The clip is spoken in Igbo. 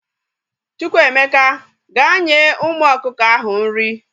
Chukwuemeka, gaa nye umu ọkụkọ ahụ nri!